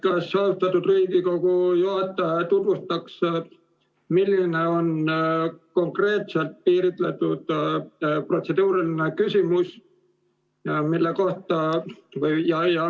Kas austatud Riigikogu juhataja tutvustaks, kuidas on konkreetselt piiritletud protseduuriline küsimus?